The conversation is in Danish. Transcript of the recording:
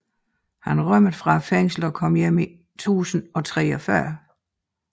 Han rømmede fra fængslet og kom hjem i 1043